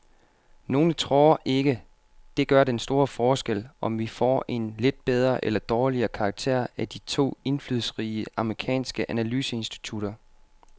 Nogle tror ikke, det gør den store forskel, om vi får en lidt bedre eller dårligere karakter af de to indflydelsesrige amerikanske analyseinstitutter.